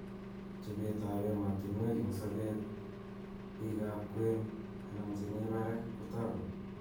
Chopet ap emotunwek ing sopet , pik ap kwen anan che mi parak kotaku.